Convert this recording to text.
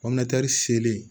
selen